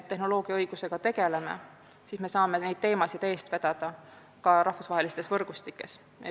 Tänu sellele me saame neid teemasid eest vedada ka rahvusvahelistes võrgustikes.